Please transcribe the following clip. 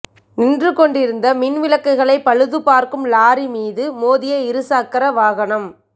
நின்று கொண்டிருந்த மின் விளக்குகளைப் பழுதுபார்க்கும் லாரி மீது மோதிய இரு சக்கர வாகனம்